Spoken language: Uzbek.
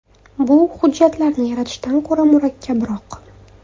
Bu hujjatlarni yaratishdan ko‘ra murakkabroq.